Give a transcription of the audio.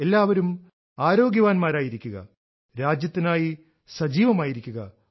എല്ലാവരും ആരോഗ്യവാന്മാരായിരിക്കുക രാജ്യത്തിനായി സജീവമായിരിക്കുക